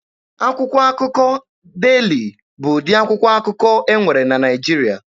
Akwụkwọ akụkọ Deeli bụ ụdị akwụkwọ akụkọ e nwere na Naịjirịa.